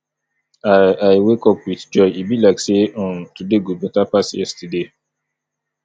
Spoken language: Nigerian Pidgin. i i wake up with joy e be like sey um today go beta pass yesterday